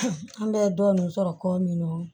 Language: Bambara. an bɛ dɔɔnin sɔrɔ kɔ min na